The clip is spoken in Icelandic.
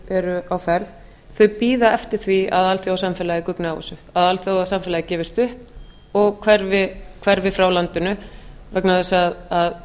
eru á ferð bíði eftir því að alþjóðasamfélagið gugni á þessu að alþjóðasamfélagið gefist upp og hverfi frá landinu vegna þess að